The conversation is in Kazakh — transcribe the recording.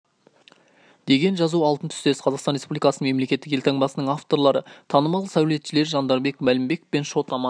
деген жазу алтын түстес қазақстан республикасының мемлекеттік елтаңбасының авторлары танымал сәулетшілер жандарбек мәлібеков пен шот-аман